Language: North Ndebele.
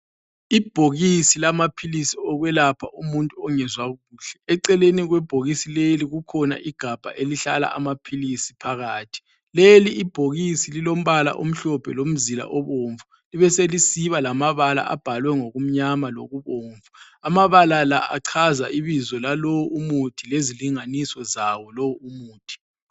Ibhokisi lamaphilisi okwelapha umuntu ongezwa kuhle. Eceleni kwebhokisi leli kukhona igabha elihlala amaphilisi phakathi. Leli ibhokisi lilombala omhlophe lomzila obomvu. Libeselisiba lamabala abhalwe ngokumnyama lokubomvu. Amabala la achaza ibizo lalo umuthi lezilinganiso zawo lo umuthi.